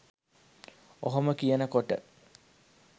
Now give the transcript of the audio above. ඔහොම කියනකොට